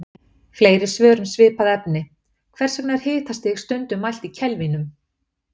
Fleiri svör um svipað efni Hvers vegna er hitastig stundum mælt í kelvínum?